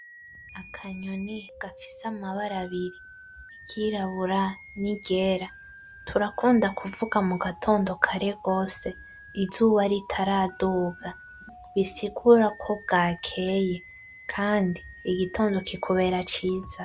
Akanyoni gafise amabara abiri iryirabura niryera, turakunda kuvuga mugatondo kare gose, izuba ritaraduga , bisigura ko bwakeye Kandi igitondo kikubera ciza .